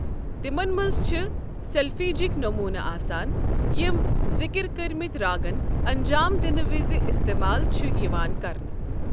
تِمَن منٛز چھِ سلفیجٕک نموٗنہٕ آسان یِم ذِکر کٔرمٕتۍ راگَن انجام دِنہٕ وِزِ استعمال چھُ یِوان کرنہٕ۔